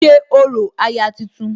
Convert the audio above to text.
ṣe orò aya tuntun